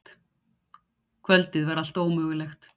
Kvöldið var allt ómögulegt.